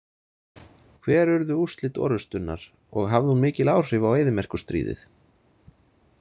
Hver urðu úrslit orrustunnar og hafði hún mikil áhrif á eyðimerkurstríðið?